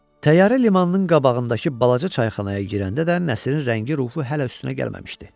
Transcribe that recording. Təyyarə limanının qabağındakı balaca çayxanaya girəndə də Nəsrin rəngi, ruhu hələ üstünə gəlməmişdi.